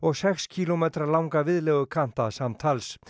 sex kílómetra langa viðlegukanta samtals